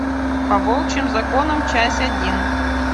по волчьим законам часть один